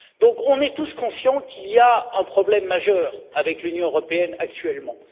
nous sommes tous conscients qu'il y a un problème majeur avec l'Union européenne actuellement.